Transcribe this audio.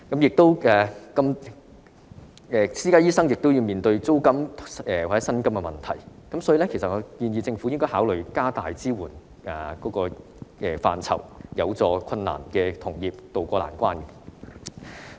私家醫生亦要面對租金或薪金的問題，因此政府應考慮擴大支援範疇，協助有困難的同業渡過難關。